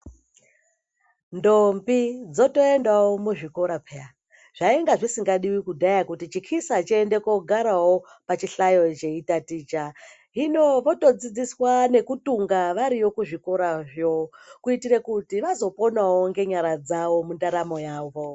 Ndombi dzotoendawo muchikora pheya zvainga zvisingadiwi kudhaaya kuti chikisa chiendewo kogarewo pachihlayo cheitaticha hino votodzidziswa nekutunga variyo kuzvikorazvo kuitira kuti vazoponawo ngenyara dzavo mundaramo yavo.